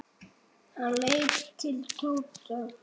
Hann leit til Tóta.